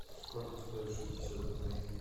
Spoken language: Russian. сколько стоит шестьдесят рублей